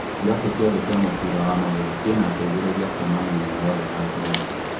Irabu ciothe cia mũbira wa magũrũ cĩina ateithĩrīria kũũma mĩena yothe ya bũrũri